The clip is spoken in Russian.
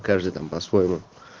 каждый там по-своему